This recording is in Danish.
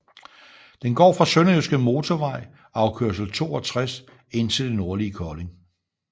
Den går fra Sønderjyske Motorvej afkørsel 62 ind til det nordlige Kolding